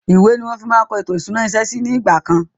Ìwé ni wọn fi máa ń kọ ètò ìṣúná ilé iṣẹ́ síí ni ìgbàkan